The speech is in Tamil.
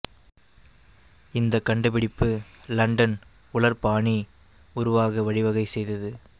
இந்த கண்டுபிடிப்பு லண்டன் உலர் பாணி உருவாக வழிவகை செய்தது